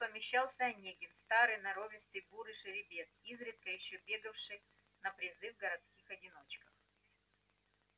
тут помещался онегин старый норовистый бурый жеребец изредка ещё бегавший на призы в городских одиночках